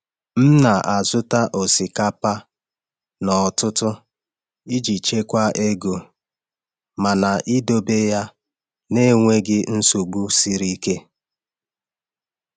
M na-azụta osikapa n’ọtụtụ iji chekwaa ego, mana idobe ya n’enweghị nsogbu siri ike.